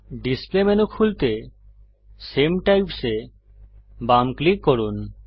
display menu খুলতে সামে types এ বাম ক্লিক করুন